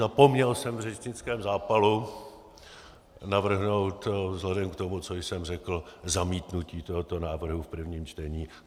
Zapomněl jsem v řečnickém zápalu navrhnout vzhledem k tomu, co jsem řekl, zamítnutí tohoto návrhu v prvním čtení.